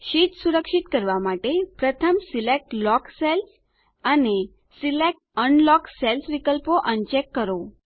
sheet સુરક્ષિત કરવા માટે પ્રથમ સિલેક્ટ લોક્ડ સેલ્સ અને સિલેક્ટ અનલોક્ડ સેલ્સ વિકલ્પો અનચેક કરો